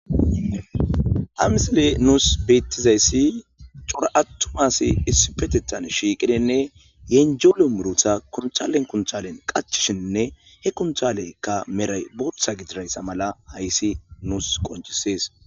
Ha missile nus betizaysi c'ora atuma asay issipetetan shiqidine yenjelo muruta kuntale kuntalen qachishene he kuntaleka meray botha gidiraysa mala haysi nus qonc'ises.